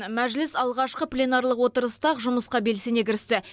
мәжіліс алғашқы пленарлық отырыста ақ жұмысқа белсене кірісті